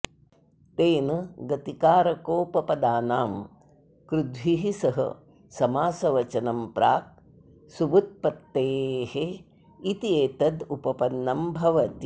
तेन गतिकारकोपपदानां कृद्भिः सह समासवचनं प्राक् सुबुत्पत्तेः इत्येतदुपपन्नं भवति